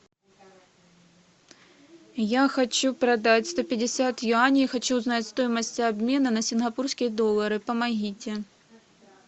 я хочу продать сто пятьдесят юаней хочу узнать стоимость обмена на сингапурские доллары помогите